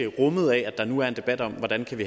rummet af at der nu er en debat om hvordan man